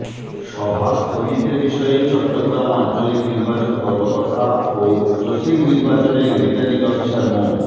সভা স্থগিতের বিষয়ে চট্টগ্রাম আঞ্চলিক নির্বাচন কর্মকর্তা ও চসিক নির্বাচনের রিটার্নিং অফিসার মো